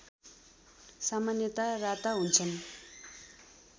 सामान्यतया राता हुन्छन्